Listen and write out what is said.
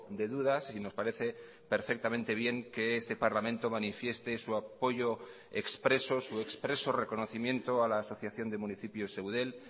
de dudas y nos parece perfectamente bien que este parlamento manifieste su apoyo expreso su expreso reconocimiento a la asociación de municipios eudel